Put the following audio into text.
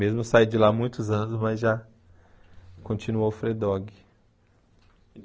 Mesmo saindo de lá há muitos anos, mas já continua o Alfredogue.